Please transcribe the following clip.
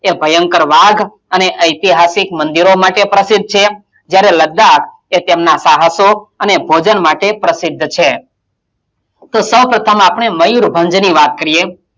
એ ભયંકર વાદ અને ઐતિહાસિક મંદિરો માટે પ્રસિદ્ધ છે જ્યારે લદ્દાક એ તેમનાં સાહસો અને ભોજન માટે પ્રસિદ્ધ છે તો સૌ પ્રથમ આપણે મયુરભંજની વાત કરીયે,